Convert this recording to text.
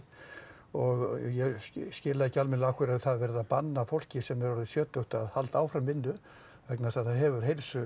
og ég skil ekki almennilega hvers það er verið að banna fólki sem er orðið sjötugt að halda áfram vinnu vegna þess að það hefur heilsu